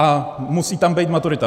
A musí tam být maturita.